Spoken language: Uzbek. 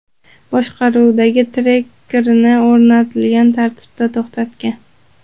boshqaruvidagi Tracker’ni o‘rnatilgan tartibda to‘xtatgan.